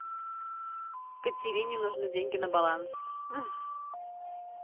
катерине нужны деньги на баланс